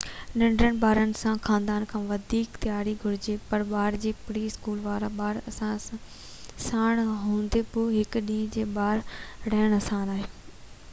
ننڍڙن ٻارن سان خاندانن کي وڌيڪ تياري گهرجي پر ٻار ۽ پري-اسڪول وارا ٻار ساڻ هوندي به هڪ ڏينهن جي ٻاهر رهڻ آسان آهي